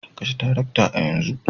Kashe tarakta a yanzu